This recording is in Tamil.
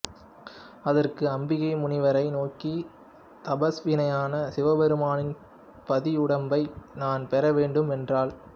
அதற்கு அம்பிகை முனிவரை நோக்கி தபஸ்வியான சிவபெருமானின் பாதியுடம்பை நான் பெறவேண்டும் என்றாள்